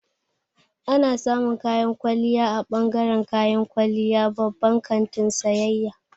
Ana samun kayan kwalliya a bangaren kayan kwalliya babban kantin sayayya.